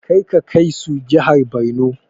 Karka kai su jihar Borno!